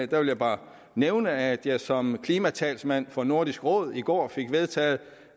der vil jeg bare nævne at jeg som klimatalsmand for nordisk råd i går fik vedtaget